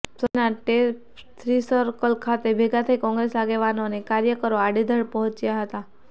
શહેરના ટોપથ્રીસર્કલ ખાતે ભેગા થઈ કોંગ્રેસ આગેવાનો અને કાર્યકરો અધેવાડા પહોંચ્યા હતાં